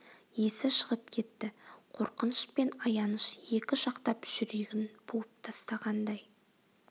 есі шығып кетті қорқыныш пен аяныш екі жақтап жүрегін буып тастағандай